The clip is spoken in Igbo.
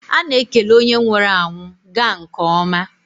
A na-ekele onye nwụrụ anwụ; gaa nke ọma.